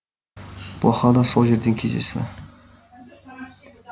блоха да сол жерден кездесті